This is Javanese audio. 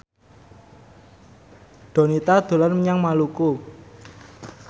Donita dolan menyang Maluku